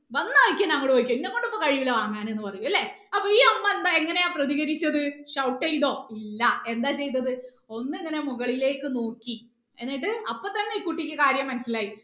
വന്ന വഴിക്ക് തന്നെ അങ്ങോട്ട് പോയിക്കോ ഇന്നെ കൊണ്ട് ഇപ്പൊ കഴിയൂല വാങ്ങാന് ന്ന് പറയും അല്ലെ അപ്പൊ ഈ അമ്മ എന്താ എങ്ങനെയാ പ്രതികരിച്ചത് shout ചെയ്തോ ഇല്ല ഒന്ന് ഇങ്ങനെ മുകളിലേക്ക് നോക്കി എന്നിട്ട് അപ്പൊ തന്നെ ഈ കുട്ടിക്ക് കാര്യം മനസിലായി